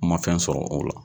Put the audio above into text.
N ma fɛn sɔrɔ o la